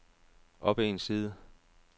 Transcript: op en side